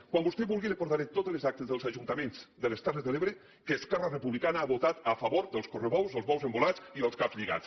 quan vostè vulgui li portaré totes les actes dels ajuntaments de les terres de l’ebre en què esquerra republicana ha votat a favor dels correbous o els bous embolats i dels caps lligats